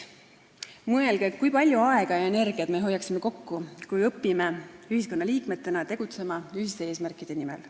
Mõelge, kui palju aega ja energiat me hoiaksime kokku, kui õpiksime ühiskonnaliikmetena tegutsema ühiste eesmärkide nimel.